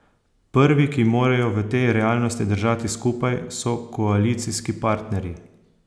Prvi, ki morajo v tej realnosti držati skupaj, so koalicijski partnerji.